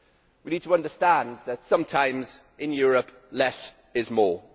We need to understand that sometimes in Europe less is more'.